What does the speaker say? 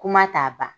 Kuma t'a ba